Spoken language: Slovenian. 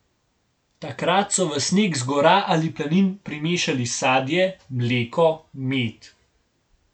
Takrat so v sneg z gora ali planin primešali sadje, mleko, med.